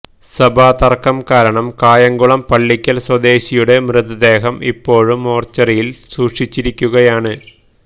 സഭാതര്ക്കം കാരണം കായംകുളം പള്ളിക്കല് സ്വദേശിയുടെ മൃതദേഹം ഇപ്പോഴും മോര്ച്ചറിയില് സൂക്ഷിച്ചിരിക്കുകയാണ്